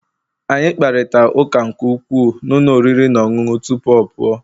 Anyị kparịta ụka nke ukwuu na ụlọ oriri na ọṅụṅụ tupu ọ pụọ